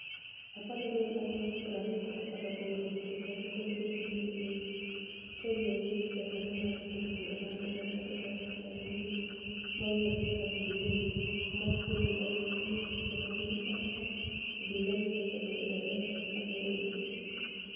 14 Agost 2018 Picha mogol e Getty Images, Toniy Owiti Jakaniyo mar od bura mar Uganida Robert Kyagulaniyi ma onig'ere kaka Bonii Wini e omaki gi obilae mania seche matini banig' ka obila ni e osegoyo dereba ma ni e oni ego.